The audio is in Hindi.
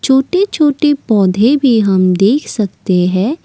छोटे छोटे पौधे भी हम देख सकते है।